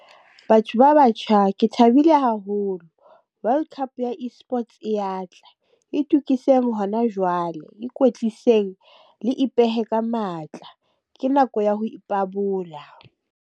Batho ba batjha ke thabile haholo, World Cup ya e-sports e ya tla itukiseng hona jwale, ikwetliseng le ipehe ka matla, ke nako ya ho ipabola.